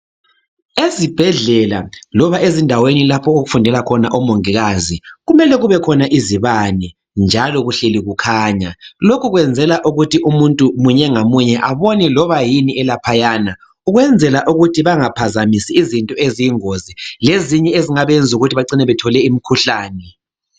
Ezibhedlela loba ezindaweni lapho okufundela khona omongikazi, kumele kubekhona izibane njalo kuhleli kukhanya lokhu kwenzela ukuthi umuntu munye ngamunye abone loba yini elaphayana ukwenzela ukuthi bangaphazamisi izinto eziyingozi lezinye ezingabenza ukuthi bacine bethole imkhuhlane.